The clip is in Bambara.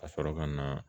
Ka sɔrɔ ka na